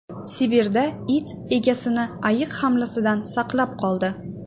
Sibirda it egasini ayiq hamlasidan saqlab qoldi.